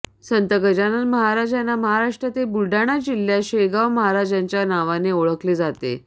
संत गजानन महाराज यांना महाराष्ट्रातील बुलढाणा जिल्ह्यात शेगाव महाराज यांच्या नावाने ओळखले जाते